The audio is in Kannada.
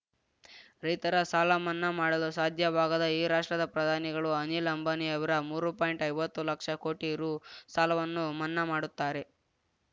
ರೈತರ ಸಾಲಮನ್ನಾ ಮಾಡಲು ಸಾಧ್ಯವಾಗದ ಈ ರಾಷ್ಟ್ರದ ಪ್ರಧಾನಿಗಳು ಅನಿಲ್‌ ಅಂಬಾನಿಯವರ ಮೂರು ಪಾಯಿಂಟ್ಐವತ್ತು ಲಕ್ಷ ಕೋಟಿ ರುಸಾಲವನ್ನು ಮನ್ನಾ ಮಾಡುತ್ತಾರೆ